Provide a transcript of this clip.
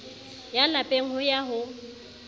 ya lapeng ho ya ho